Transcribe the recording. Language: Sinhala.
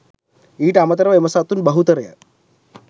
ඊට අමතරව එම සතුන් බහුතරය